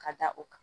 Ka da o kan